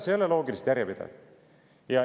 See ei ole loogiliselt järjepidev.